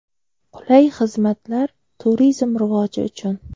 Qulay xizmatlar turizm rivoji uchun.